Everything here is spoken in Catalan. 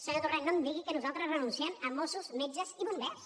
senyor torrent no em digui que nosaltres renunciem a mossos metges i bombers